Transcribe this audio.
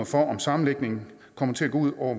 for om sammenlægningen kommer til at gå ud over